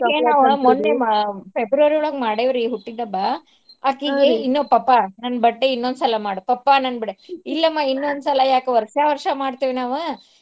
ಮನ್ನೇ ನಾವ್ February ಒಳ್ಗ ಮಾಡೇವ್ ರೀ ಹುಟ್ಟಿದಬ್ಬಾ ಅಕಿಗೆ ಇನ್ನೂ ಪಪ್ಪಾ ನನ್ birthday ಇನ್ನೋದ್ ಸಲ ಮಾಡು ಪಪ್ಪಾ ನನ್ ಬಿಡ ಇಲ್ಲಾಮ ಇನ್ನೋದ್ ಸಲ ಯಾಕ್ ವರ್ಷಾ ವರ್ಷಾ ಮಾಡ್ತೇವ್ ನಾವ.